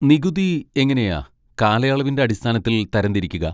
നികുതി എങ്ങനെയാ കാലയളവിൻ്റെ അടിസ്ഥാനത്തിൽ തരംതിരിക്കുക?